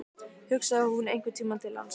Hugsaði hún einhvern tímann til hans?